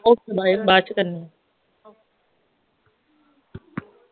okay bye ਬਾਅਦ ਚ ਕਰਨੀ ਏ